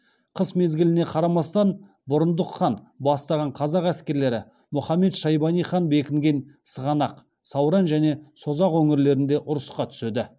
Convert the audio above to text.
қыс мезгіліне қарамастан бұрындық хан бастаған қазақ әскерлері мұхаммед шайбани хан бекінген сығанақ сауран және созақ өңірлерінде ұрысқа түседі